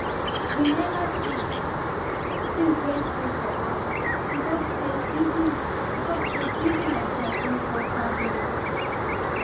we never fix things wey spoil for house because say building because say building materials don cost pass normal